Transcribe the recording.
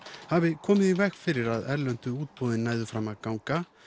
hafi komið í veg fyrir að erlendu útboðin næðu fram að ganga